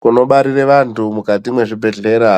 Kunobarire vantu mukati mwezvibhedhlera,